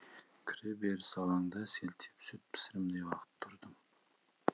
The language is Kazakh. кіреберіс алаңда селтиіп сүт пісірімдей уақыт тұрдым